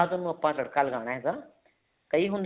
ਬਾਅਦ ਉਹਨੂੰ ਆਪਾਂ ਤੜਕਾ ਲਗਾਣਾ ਹੈਗਾ ਕਈ ਹੁੰਦੇ ਨੇ